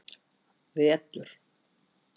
vetur